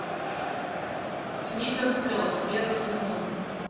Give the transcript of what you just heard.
литр слез первый сезон